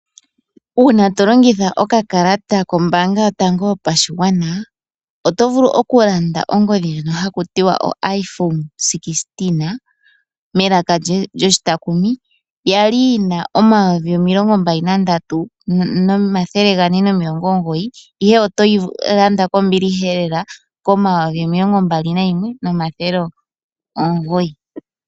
Una ngele tolongitha okakala kombanga yotango yopashigwana .Otovulu oku landa ongodhi ndjoka hakutiwa (iphone16)melaka lyoshitakumi yali yina omayovi omilongo mbaali nandatu nomathele gane nomiilongo omugoyi(23490) ihe otoyi landa kombiliha lela (21900).